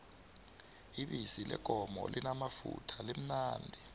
ibisi leenkomo limamafutha limnandi